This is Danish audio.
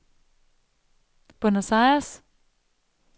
Buenos Aires